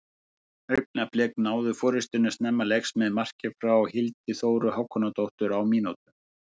Augnablik náðu forystunni snemma leiks með marki frá Hildi Þóru Hákonardóttur á mínútu.